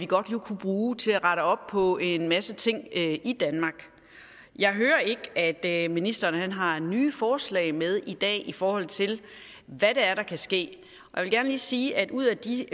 godt kunne bruge til at rette op på en masse ting i danmark jeg hører ikke at ministeren har nye forslag med i dag i forhold til hvad det er der kan ske og jeg vil sige at ud af de